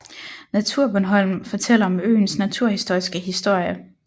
NaturBornholm fortæller om øens naturhistoriske historie